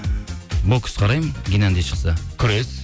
бокс қараймын геннади шықса күрес